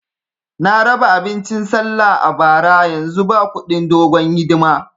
Na raba abincin sallah a bara, yanzu ba kudin dogon hidima